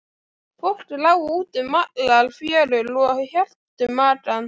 Fólk lá út um allar fjörur og hélt um magann.